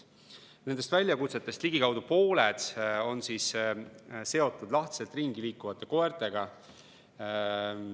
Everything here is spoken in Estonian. Nendest väljakutsetest ligikaudu pooled on seotud lahtiselt ringi jooksvate koertega.